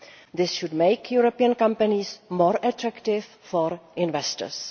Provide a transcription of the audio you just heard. This should make European companies more attractive for investors.